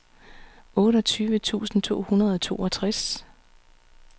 otteogtyve tusind to hundrede og toogtres